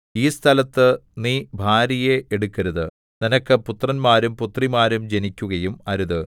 ഈ സ്ഥലത്ത് നീ ഭാര്യയെ എടുക്കരുത് നിനക്ക് പുത്രന്മാരും പുത്രിമാരും ജനിക്കുകയും അരുത്